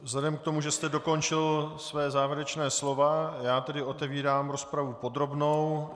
Vzhledem k tomu, že jste dokončil své závěrečné slovo, já tedy otevírám rozpravu podrobnou.